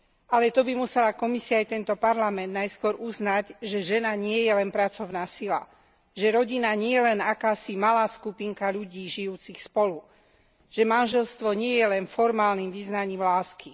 Ale to by musela Komisia aj tento Parlament najskôr uznať, že žena nie je len pracovná sila, že rodina nie je len akási malá skupinka ľudí žijúcich spolu, že manželstvo nie je len formálnym vyznaním lásky.